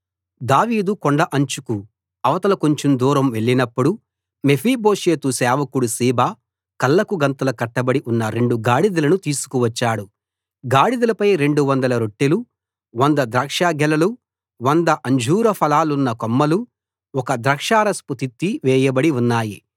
దావీదు కొండ అంచుకు అవతల కొంచెం దూరం వెళ్లినప్పుడు మెఫీబోషెతు సేవకుడు సీబా కళ్ళకు గంతలు కట్టిబడి ఉన్న రెండు గాడిదలను తీసుకువచ్చాడు గాడిదలపై 200 రొట్టెలు 100 ద్రాక్ష గెలలు వంద అంజూర ఫలాలున్న కొమ్మలు ఒక ద్రాక్షారసపు తిత్తి వేయబడి ఉన్నాయి